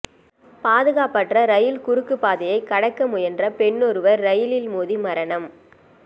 பாது காப்பற்ற ரயில் குறுக்கு பாதையை கடக்க முயன்ற பெண்னொருவர் ரயிலில் மோதி மரணம்